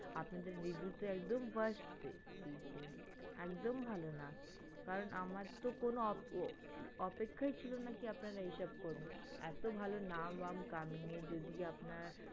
আপনাদের review তো একদম worst rate দিয়েছে একদম ভালো না কারণ আমারতো কোনো অপেক্ষ অপেক্ষাই ছিলোনা কি আপনারা এইসব করবেন এতো ভালো নাম ধাম কামিয়ে যদি আপনার